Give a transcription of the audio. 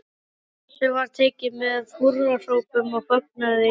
Þessu var tekið með húrrahrópum og fögnuði í Hljómskálanum.